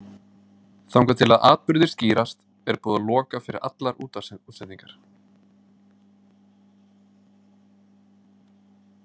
Þangað til að atburðir skýrast er búið að loka fyrir allar útvarpsútsendingar.